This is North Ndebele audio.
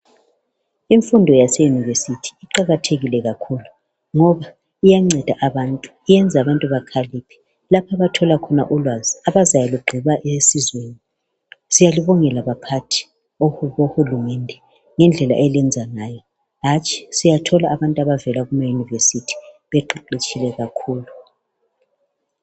Imfundo yase university iqakathekile kakhulu ngoba iyanceda abantu, iyenza abantu bakhaliphe lapho abathola khona ulwazi abazayalugqiba esizweni. Siyalibongela baphathi bohulumende ngendlela eliyenza ngayo, hatshi siyathola abantu abavela ema university beqeqetshile kakhulu.